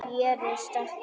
Gerist ekki betra.